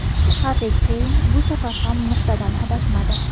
Harri Keyn bu safar ham nuqtadan adashmadi.